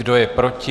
Kdo je proti?